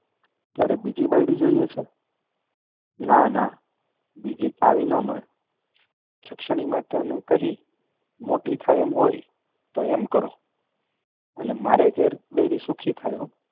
ત્યારે બીજી બાયડી જોઈએ છે? ના, ના. બીજી આવી ન મળે. જક્ષણી માતાને કહીને મોટી થાય એમ કરો. અને મારે ઘેર બૈરી સુખી થાય હોં.